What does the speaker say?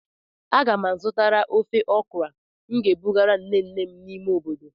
Aga m azụta ofe okra m ga-ebugara nne nne m n'ime obodo.